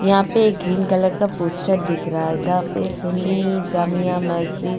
यहां पे एक ग्रीन कलर का पोस्टर दिख रहा है जहां पे सुन्नी जामिया मस्जिद.